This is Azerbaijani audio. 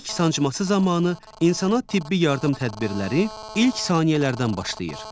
İlk sancması zamanı insana tibbi yardım tədbirləri ilk saniyələrdən başlayır.